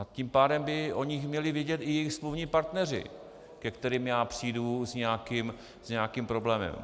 A tím pádem by o nich měli vědět i jejich smluvní partneři, ke kterým já přijdu s nějakým problémem.